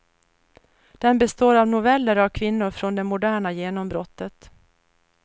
Den består av noveller av kvinnor från det moderna genombrottet.